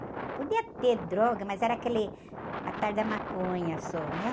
Podia ter droga, mas era aquele atalho da maconha só, né?